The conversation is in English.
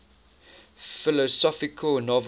philosophical novels